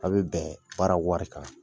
A bɛ bɛn baara wari kan.